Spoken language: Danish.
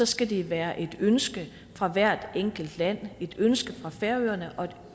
skal det være et ønske fra hvert enkelt land et ønske fra færøerne og